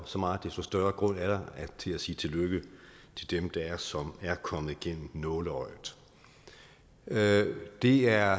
så meget desto større grund til at sige tillykke til dem som er kommet igennem nåleøjet det er